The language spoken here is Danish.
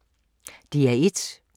DR1